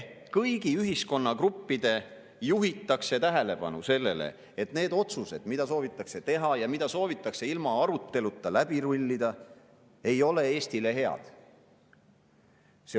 Kõigist ühiskonnagruppidest juhitakse tähelepanu sellele, et need otsused, mida soovitakse teha ja mida soovitakse ilma aruteluta läbi rullida, ei ole Eestile head.